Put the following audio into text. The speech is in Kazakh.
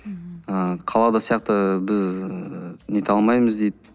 ыыы қалада сияқты біз нете алмаймыз дейді